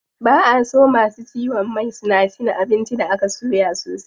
Ba a so masu ciwon mai suna cin abinci da aka soya sosai.